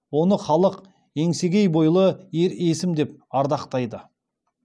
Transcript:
оны халық еңсегей бойлы ер есім деп ардақтайды